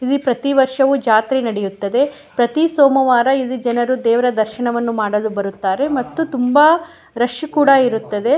ಇಲ್ಲಿ ಪ್ರತಿವರ್ಷವೂ ಜಾತ್ರೆ ನಡೆಯುತ್ತದೆ ಪ್ರತಿ ಸೋಮವಾರ ಇಲ್ಲಿ ಜನರು ದೇವರ ದರ್ಶನ ಮಾಡಲು ಬರುತ್ತಾರೆ ಮತ್ತು ತುಂಬ ರಶ್ ಕೂಡ ಇರುತ್ತದೆ --